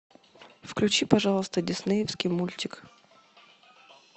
включи пожалуйста диснеевский мультик